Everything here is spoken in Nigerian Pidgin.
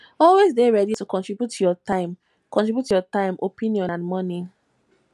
always de ready to contribute your time contribute your time opinion and money